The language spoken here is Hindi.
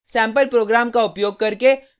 सेम्पल प्रोग्राम का उपयोग करके